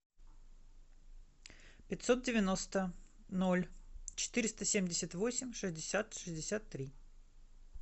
пятьсот девяносто ноль четыреста семьдесят восемь шестьдесят шестьдесят три